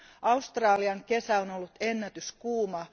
Australian kesä on ollut ennätyskuuma.